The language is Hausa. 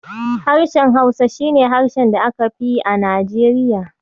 Harshen Hausa shi ne harshe da aka fi yi a Najeriya.